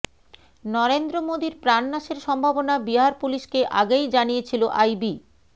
নরেন্দ্র মোদীর প্রাণনাশের সম্ভাবনা বিহার পুলিসকে আগেই জানিয়েছিল আইবি